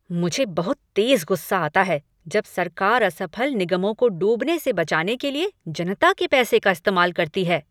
मुझे बहुत तेज गुस्सा आता है जब सरकार असफल निगमों को डूबने से बचाने के लिए जनता के पैसे इस्तेमाल करती है।